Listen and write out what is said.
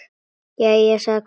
Jæja, sagði Kobbi.